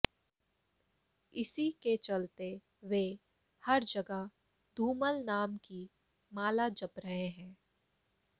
इसी के चलते वे हर जगह धूमल नाम की माला जप रहे हैं